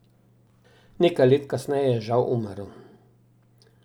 Nekaj let kasneje je žal umrl.